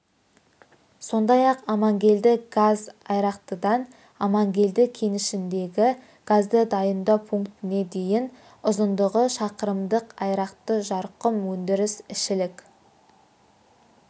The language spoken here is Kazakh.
сондай ақ амангелді газ айрақтыдан амангелді кенішіндегі газды дайындау пунктіне дейін ұзындығы шақырымдық айрақты-жарқұм өндіріс ішілік